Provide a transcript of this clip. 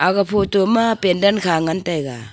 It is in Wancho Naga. aga photo ma pandal kha ngan taega.